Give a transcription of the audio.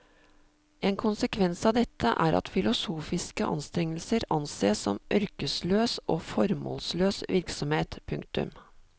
En konsekvens av dette er at filosofiske anstrengelser ansees som ørkesløs og formålsløs virksomhet. punktum